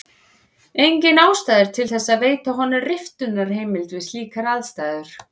Engin ástæða er til þess að veita honum riftunarheimild við slíkar aðstæður.